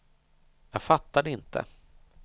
Jag fattar det inte.